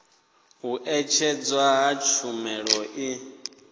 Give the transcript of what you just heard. u ṅetshedzwa ha tshumelo i